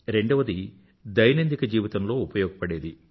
రెండవది దైనందిక జీవితంలో ఉపయోగపడేది